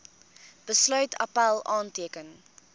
besluit appèl aanteken